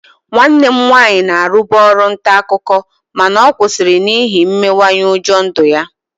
Nwanne m nwaanyị na-arụbu ọrụ nta akụkọ mana ọ kwụsịrị n'ihi mmenyeụjọ ndụ ya